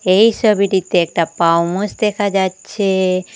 এই সবিটিতে একটা পাম আউচ দেখা যাচ্ছে।